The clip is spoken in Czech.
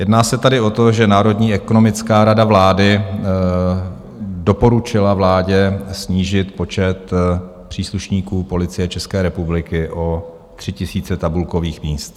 Jedná se tady o to, že Národní ekonomická rada vlády doporučila vládě snížit počet příslušníků Policie České republiky o 3 tisíce tabulkových míst.